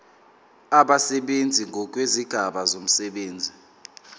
abasebenzi ngokwezigaba zomsebenzi